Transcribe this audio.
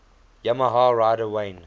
yamaha rider wayne